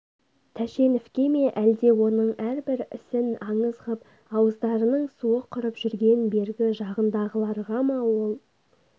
тәшеновке ме әлде оның әрбір ісін аңыз ғып ауыздарының суы құрып жүрген бергі жағындағыларға ма ол